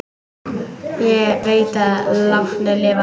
Ég veit að látnir lifa.